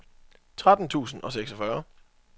tretten tusind og seksogfyrre